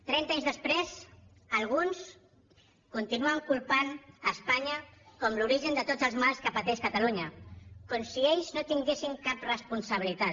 trenta anys després alguns continuen culpant espanya com l’origen de tots els mals que pateix catalunya com si ells no en tinguessin cap responsabilitat